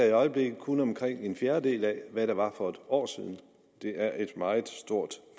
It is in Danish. i øjeblikket kun omkring en fjerdedel af hvad det var for et år siden det er et meget stort